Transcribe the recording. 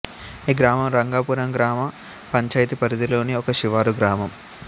ఈ గ్రామం రంగాపురం గ్రామ పంచాయతీ పరిధిలోని ఒక శివారు గ్రామం